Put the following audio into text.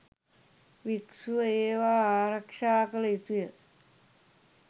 භික්‍ෂුව ඒවා ආරක්‍ෂා කළ යුතුය.